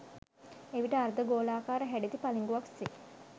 එවිට අර්ධ ගෝලාකාර හැඩැති පළිඟුවක් සේ